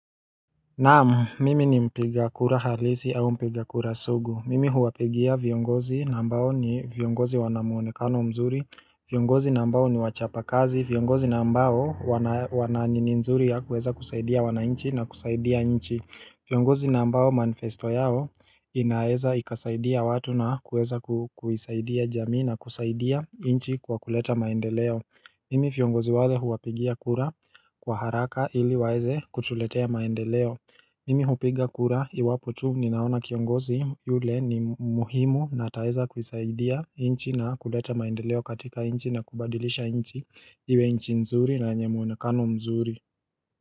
Naam, mimi ni mpiga kura halisi au mpiga kura sugu. Mimi huwapigia viongozi na ambao ni viongozi wana muonekano mzuri. Viongozi na ambao ni wachapa kazi. Viongozi na ambao wana wananini nzuri ya kueza kusaidia wanainchi na kusaidia nchi. Viongozi na ambao manifesto yao inaeza ikasaidia watu na kueza kuisaidia jamii na kusaidia inchi kwa kuleta maendeleo. Mimi fiongozi wale huwapigia kura kwa haraka ili waeze kutuletea maendeleo Mimi hupiga kura iwapo tu ninaona kiongozi yule ni muhimu na ataweza kuisaidia inchi na kuleta maendeleo katika inchi na kubadilisha inchi iwe inchi nzuri na enye muonekano mzuri.